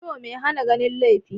So mai hana ganin laifi